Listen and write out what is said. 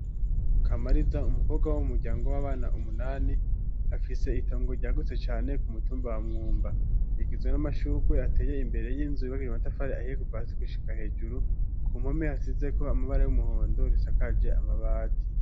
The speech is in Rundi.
Kamariza, umukobwa w'umuryango w'abana umunani afise itongo ryagutse cane ku mutumba wa mwumba, yagizwe n'amashugwe ateye imbere y'inzu ibagirimatafari ahiye guva asi kuishika hejuru ku mpome hasize ko amabara y'umuhondo risakaje amabati.